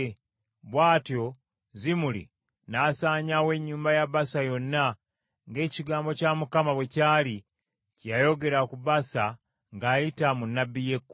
Bw’atyo Zimuli n’asaanyaawo ennyumba ya Baasa yonna, ng’ekigambo kya Mukama bwe kyali kye yayogera ku Baasa ng’ayita mu nnabbi Yeeku,